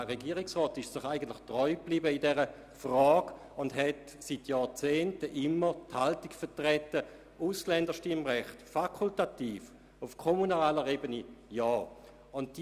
Der Regierungsrat ist sich in dieser Frage eigentlich treu geblieben und vertritt seit Jahrzehnten die Haltung, ein fakultatives Ausländerstimmrecht auf kommunaler Ebene sei zu befürworten.